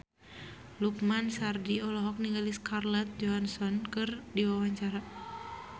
Lukman Sardi olohok ningali Scarlett Johansson keur diwawancara